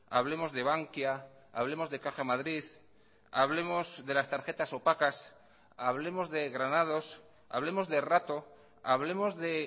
hablemos de bankia hablemos de caja madrid hablemos de las tarjetas opacas hablemos de granados hablemos de rato hablemos de